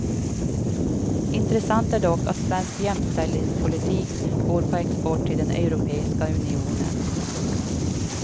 Intressant är dock att svensk jämställdhetspolitik går på export till den europeiska unionen.